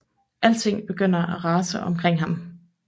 Alting begynder at rasere omkring ham